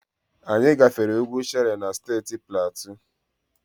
Anyị gafere ugwu Shere na Steeti Platu.